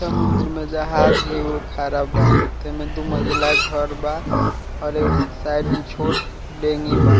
समुन्दर में जहाज एगो खड़ा बा जेमे दू मंज़िला घर बा और उसके साइड में छोट देनी बा |